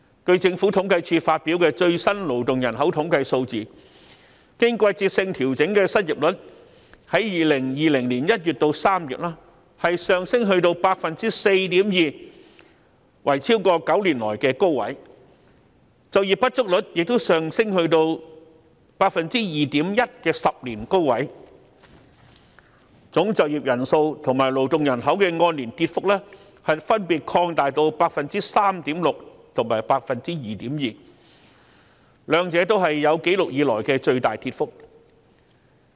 據政府統計處發表的最新勞動人口統計數字，經季節性調整的失業率，在2020年1月至3月，上升至 4.2%， 是9年來的高位，就業不足率亦上升到 2.1% 的10年高位，總就業人數及勞動人口的按年跌幅分別擴大至 3.6% 及 2.2%， 兩者也是有紀錄以來的最大跌幅。